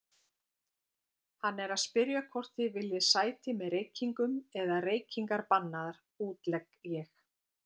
Hann er að spyrja hvort þið viljið sæti með reykingum eða reykingar bannaðar, útlegg ég.